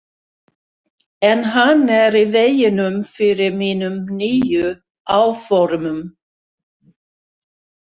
En hann er í veginum fyrir mínum nýju áformum.